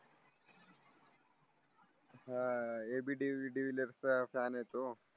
अह A B डेवी de Villiers चा fan आहे तो